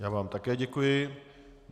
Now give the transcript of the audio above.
Já vám také děkuji.